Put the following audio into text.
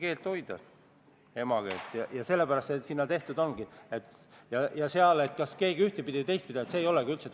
Sel päeval võeti otsus vastu konsensuslikult, sest miks mitte, eelnõu on asjakohane, tähtajaks muudatusettepanekuid ei esitatud, kõik tundus korras olevat.